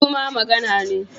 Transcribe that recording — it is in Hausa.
Shuru ma magana ne.